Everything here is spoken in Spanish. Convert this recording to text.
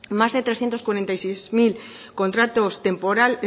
más de trescientos cuarenta y seis mil contratos